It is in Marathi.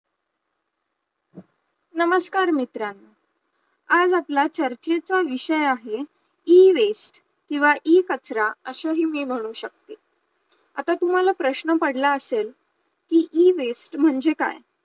नमस्कार मित्रा, आज आपला चर्चेचा विषय आहे, Ewaste किंवा इ कचरा असाही मी म्हणू शकते, आता तुम्हाला प्रश्न पडला असेल कि Ewaste म्हणजे काय